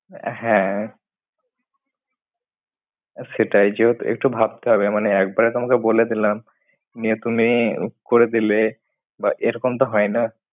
হ্যাঁ, সেটাই যেহেতু একটু ভাবতে হবে। মানে একবারে তোমাকে বলে দিলাম। নিয়ে তুমি করে দিলে বা এরকম তো হয় না।